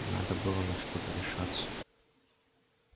надо было на что-то решаться